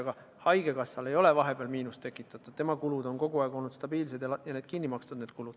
Aga haigekassale ei ole vahepeal miinust tekitatud, tema kulud on kogu aeg olnud stabiilsed ja need on kinni makstud.